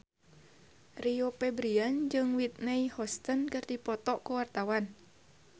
Rio Febrian jeung Whitney Houston keur dipoto ku wartawan